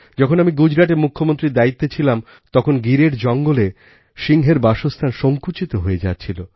যখন আমিগুজরাটে মুখ্যমন্ত্রীর দায়িত্বে ছিলাম তখন গিরএর জঙ্গলে সিংহের বাসস্থান সঙ্কুচিত হয়ে যাচ্ছিল